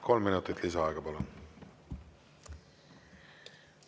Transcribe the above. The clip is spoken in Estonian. Kolm minutit lisaaega, palun!